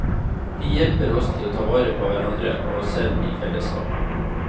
De hjelper oss til å ta vare på hverandre og oss selv i fellesskapet.